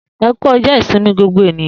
E ku ọjọ ìsinmi gbogbo ènìyàn.